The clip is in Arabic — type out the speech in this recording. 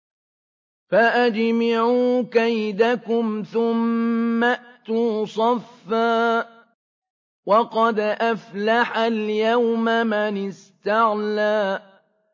فَأَجْمِعُوا كَيْدَكُمْ ثُمَّ ائْتُوا صَفًّا ۚ وَقَدْ أَفْلَحَ الْيَوْمَ مَنِ اسْتَعْلَىٰ